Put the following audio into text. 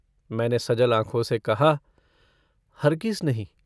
मैंने सजल आँखों से कहा - हरगिज नहीं।